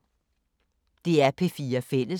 DR P4 Fælles